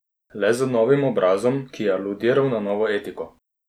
Le z novim obrazom, ki je aludiral na novo etiko.